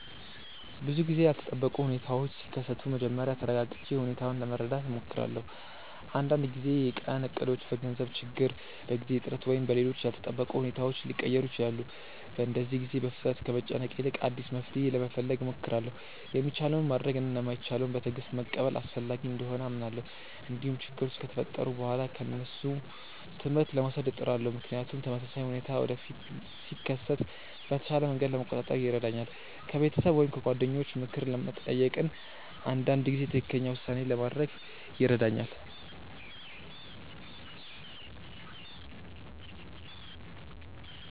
ብዙ ጊዜ ያልተጠበቁ ሁኔታዎች ሲከሰቱ መጀመሪያ ተረጋግቼ ሁኔታውን ለመረዳት እሞክራለሁ። አንዳንድ ጊዜ የቀን እቅዶች በገንዘብ ችግር፣ በጊዜ እጥረት ወይም በሌሎች ያልተጠበቁ ሁኔታዎች ሊቀየሩ ይችላሉ። በእንደዚህ ጊዜ በፍጥነት ከመጨነቅ ይልቅ አዲስ መፍትሔ ለመፈለግ እሞክራለሁ። የሚቻለውን ማድረግ እና የማይቻለውን በትዕግስት መቀበል አስፈላጊ እንደሆነ አምናለሁ። እንዲሁም ችግሮች ከተፈጠሩ በኋላ ከእነሱ ትምህርት ለመውሰድ እጥራለሁ፣ ምክንያቱም ተመሳሳይ ሁኔታ ወደፊት ሲከሰት በተሻለ መንገድ ለመቆጣጠር ይረዳኛል። ከቤተሰብ ወይም ከጓደኞች ምክር መጠየቅም አንዳንድ ጊዜ ትክክለኛ ውሳኔ ለማድረግ ይረዳኛል።